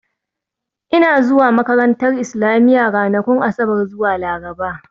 Ina zuwa makarantar Islamiya ranakun Asabar zuwa Laraba